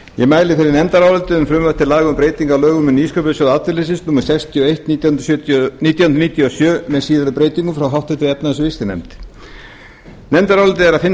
frumvarp til laga um breytingu á lögum um nýsköpunarsjóð atvinnulífsins númer sextíu og eitt nítján hundruð níutíu og sjö með síðari breytingum frá háttvirtri efnahags og viðskiptanefnd nefndarálitið er að finna